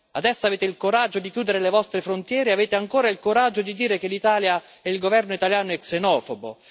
Adesso avete il coraggio di chiudere le vostre frontiere e avete ancora il coraggio di dire che l'Italia e il governo italiano è xenofobo.